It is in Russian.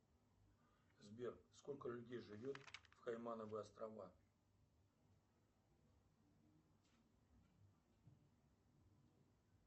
сбер сколько людей живет в каймановы острова